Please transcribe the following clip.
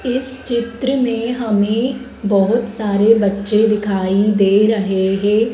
इस चित्र में हमें बहोत सारे बच्चे दिखाई दे रहे हैं।